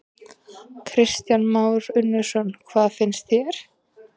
Kristján Már Unnarsson: Hvað finnst þér?